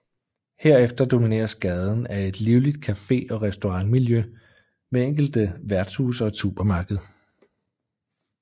Herefter domineres gaden af et livligt cafe og restaurantmiljø med enkelte værtshuse og et supermarked